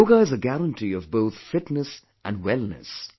Yoga is a guarantee of both fitness and wellness